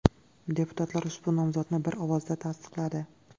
Deputatlar ushbu nomzodni bir ovozda tasdiqladi.